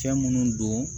Fɛn minnu don